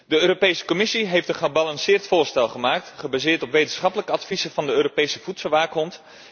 De Europese Commissie heeft een gebalanceerd voorstel gemaakt, gebaseerd op wetenschappelijke adviezen van de Europese voedselwaakhond.